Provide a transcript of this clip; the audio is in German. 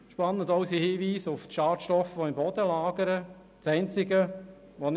Spannend sind auch die Hinweise auf die sich im Boden befindenden Schadstoffe.